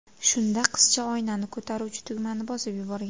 Shunda qizcha oynani ko‘taruvchi tugmani bosib yuborgan.